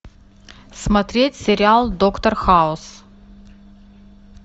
смотреть сериал доктор хаус